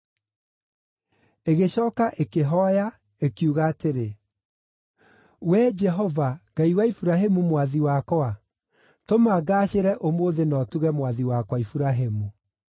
Ĩgĩcooka ĩkĩhooya, ĩkiuga atĩrĩ, “Wee Jehova, Ngai wa Iburahĩmu mwathi wakwa, tũma ngaacĩre ũmũthĩ na ũtuge mwathi wakwa Iburahĩmu.